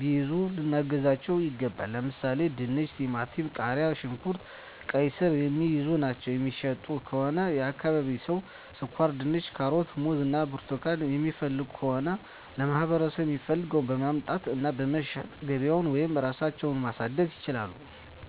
ቢይዙ ልናግዛቸው ይገባል። ለምሣሌ፦፤ ድንች፤ ቲማቲም፤ ቃሪያ፣ ሽንኩርት፤ ቃይስር፤ የሚይዙ እና የሚሸጡ ከሆነ የአካባቢው ሠው ስኳርድንች፤ ካሮት፤ ሙዝ እና ብርቱካን የሚፈልግ ከሆነ ለማህበረሰቡ የሚፈልገውን በማምጣት እና በመሸጥ ገቢያቸውን ወይም ራሳቸው ማሣደግ ይችላሉ።